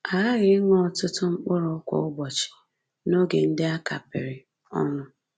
A ghaghị ịṅụ ọtụtụ mkpụrụ kwa ụbọchị, n’oge ndị a kapịrị ọnụ